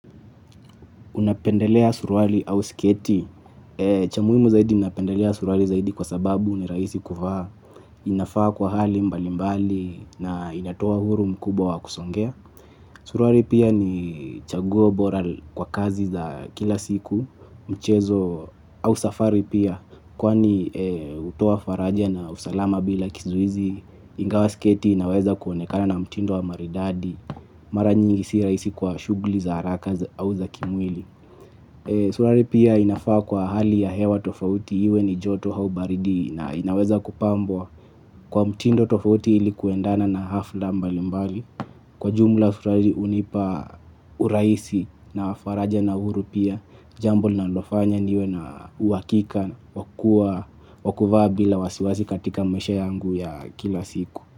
Unapendelea suruali au siketi. Cha muimu zaidi napendelea suruari zaidi kwa sababu nirahisi kuvaa inafaa kwa hali mbali mbali na inatoa huru mkubwa wa kusongea. Suruari pia ni chaguo bora kwa kazi za kila siku mchezo au safari pia kwani utoa faraja na usalama bila kizuizi ingawa iketi inaweza kuonekana na mtindo wa maridadi mara nyingi si raisi kwa shugli za haraka au za kimwili. Surari pia inafaa kwa ahali ya hewa tofauti iwe ni joto hau baridi na inaweza kupambwa kwa mtindo tofauti ilikuendana na hafla mbali mbali. Kwa jumla surari unipa uraisi na faraja na uhuru pia jambo na linalofanya niwe na uwakika kwa kuwa wakuvaa bila wasiwasi katika maisha yangu ya kila siku.